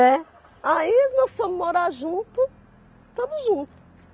Né. Aí, nós fomos morar junto, estamos juntos.